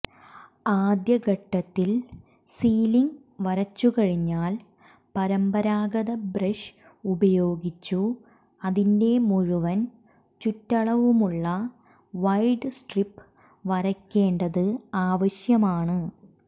ആദ്യ ഘട്ടത്തിൽ സീലിങ് വരച്ചുകഴിഞ്ഞാൽ പരമ്പരാഗത ബ്രഷ് ഉപയോഗിച്ചു് അതിൻറെ മുഴുവൻ ചുറ്റളവുമുള്ള വൈഡ് സ്ട്രിപ്പ് വരയ്ക്കേണ്ടത് ആവശ്യമാണ്